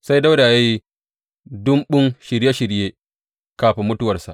Sai Dawuda ya yi ɗumbun shirye shirye kafin mutuwarsa.